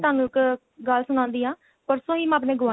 ਤੁਹਾਨੂੰ ਇੱਕ ਗੱਲ ਸੁਣਾਉਂਦੀ ਆ ਪਰਸੋ ਈ ਮੈਂ ਆਪਣੇ